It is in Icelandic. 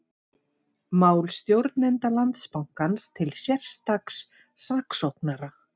Mál stjórnenda Landsbankans til sérstaks saksóknara